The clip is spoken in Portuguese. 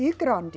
E grande.